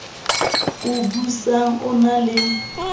o busang o na le